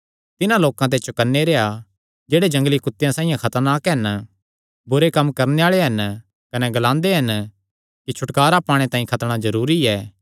तिन्हां लोकां ते चौकनै रेह्आ जेह्ड़े जंगली कुत्तेआं साइआं खतरनाक हन बुरे कम्म करणे आल़े हन कने ग्लांदे हन कि छुटकारा पाणे तांई खतणा जरूरी ऐ